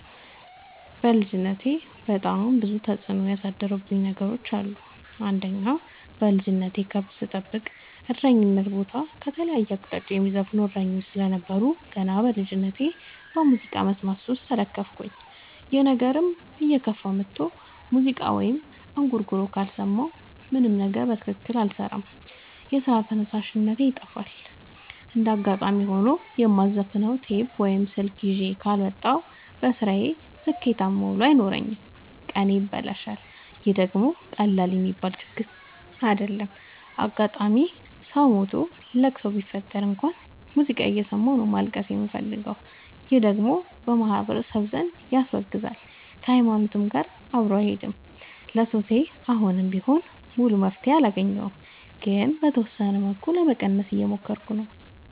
በልጅነቴ በጣም ብዙ ተጽዕኖ ያሳደረብኝ ነገር አለ። አንደኛ በልጅነቴ ከብት ስጠብቅ እረኝነት ቦታ ከተለያየ አቅጣጫ የሚዘፍኑ እሰኞች ስለነበሩ። ገና በልጅነቴ በሙዚቃ መስማት ሱስ ተለከፍኩኝ ይህ ነገርም እየከፋ መጥቶ ሙዚቃ ወይም እንጉርጉሮ ካልሰማሁ ምንም ነገር በትክክል አልሰራም የስራ ተነሳሽነቴ ይጠፋል። እንደጋጣሚ ሆኖ የማዘፍ ነው ቴፕ ወይም ስልክ ይዤ ካልወጣሁ። በስራዬ ስኬታማ ውሎ አይኖረኝም ቀኔ ይበላሻል ይህ ደግሞ ቀላል የሚባል ችግር አይደለም። አጋጣም ሰው ሞቶ ለቅሶ ቢፈጠር እንኳን ሙዚቃ እየሰማሁ ነው ማልቀስ የምፈልገው ይህ ደግሞ በማህበረሰቡ ዘንድ ያስወግዛል። ከሀይማኖቴም ጋር አብሮ አይሄድም። ለሱሴ አሁንም ቢሆን ሙሉ መፍትሔ አላገኘሁም ግን በተወሰነ መልኩ ለመቀነስ እየሞከርኩ ነው።